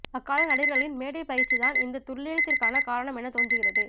அக்கால நடிகர்களின் மேடைப் பயிற்சிதான் இந்த துல்லியத்திற்கான காரணம் என தோன்றுகிறது